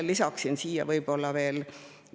Ma lisan siia veel ühe märkuse.